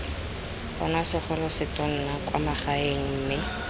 bonwa segolosetonna kwa magaeng mme